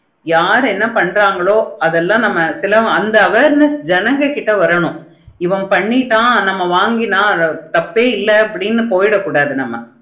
யாரு என்ன பன்னங்களோ அத எல்லாம் நம்ம awareness தான் வரணும். இவன் பண்ணிலாம் நாங்க வாங்கலாம் தப்பே இல்லைனு அப்படியா போய்டா கூடாது